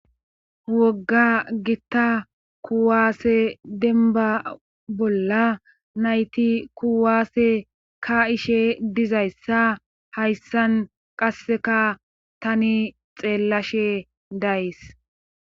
wogga gitta kuwaase denba bolla nayti kuwaase ka ishe dizayssa hayssan qasseka tani xeellashe days